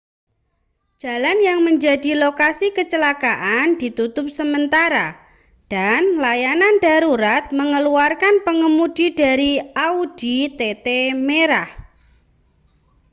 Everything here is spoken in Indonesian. jalan yang menjadi lokasi kecelakaan ditutup sementara dan layanan darurat mengeluarkan pengemudi dari audi tt merah